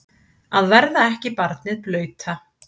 Að verða ekki barnið blauta